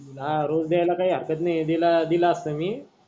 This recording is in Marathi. हा रोज द्याला काही हरकत नाही दिला दिला असता मी.